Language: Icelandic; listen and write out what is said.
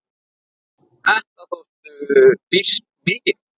Þetta þóttu býsn mikil.